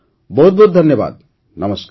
ବହୁତ୍ ବହୁତ୍ ଧନ୍ୟବାଦ ନମସ୍କାର